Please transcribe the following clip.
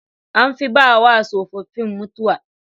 An fi bawa tsofaffin mutuwa